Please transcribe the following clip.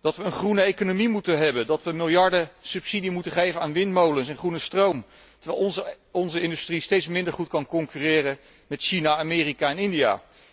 dat wij een groene economie moeten hebben, dat wij miljarden subsidie moeten geven aan windmolens en groene stroom, terwijl onze industrie steeds minder goed kan concurreren met China, Amerika en India.